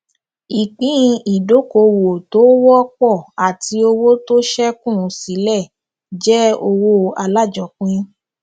ìpín ìdókoòwò tó wọpọ àti owó tó ṣẹkù sílẹ jẹ owó alájọpín